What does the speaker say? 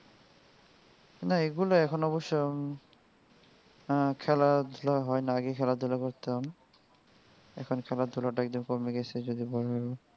না এইগুলা এখন অবশ্য আহ খেলাধুলা হয় না আগে খেলাধুলা করতাম. এখন খেলাধুলাটা একটু কমে গেসে যদি বলেন.